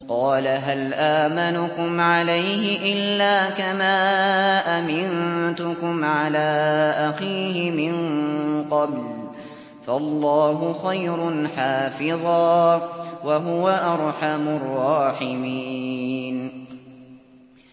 قَالَ هَلْ آمَنُكُمْ عَلَيْهِ إِلَّا كَمَا أَمِنتُكُمْ عَلَىٰ أَخِيهِ مِن قَبْلُ ۖ فَاللَّهُ خَيْرٌ حَافِظًا ۖ وَهُوَ أَرْحَمُ الرَّاحِمِينَ